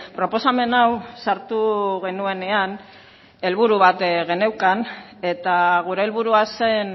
proposamen hau sartu genuenean helburu bat geneukan eta gure helburua zen